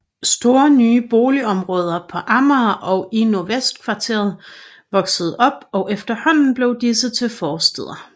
Store nye boligområder på Amager og i Nordvestkvarteret voksede op og efterhånden blev disse til forstæder